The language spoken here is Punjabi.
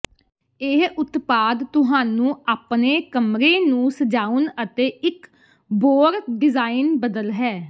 ਇਹ ਉਤਪਾਦ ਤੁਹਾਨੂੰ ਆਪਣੇ ਕਮਰੇ ਨੂੰ ਸਜਾਉਣ ਅਤੇ ਇੱਕ ਬੋਰ ਡਿਜ਼ਾਇਨ ਬਦਲ ਹੈ